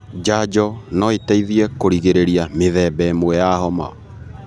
Njanjo no iteithie kũrigĩrĩria mĩthemba ĩmwe ya homa.